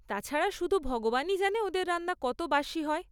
তাছাড়া, শুধু ভগবানই জানে ওদের রান্না কত বাসী হয়।